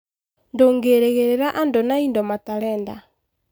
Ndũngĩrigĩrĩria andũ na indo matarenda.